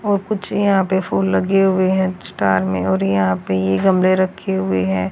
और कुछ यहां पे फूल लगे हुए हैं स्टार में और यहां पे ये गमले रखे हुए हैं।